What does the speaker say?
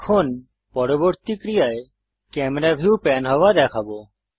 এখন পরবর্তী ক্রিয়ায় ক্যামেরা ভিউ প্যান হওয়া দেখবো